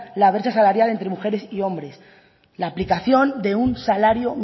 la brecha salarial entre mujeres y hombres la aplicación de un salario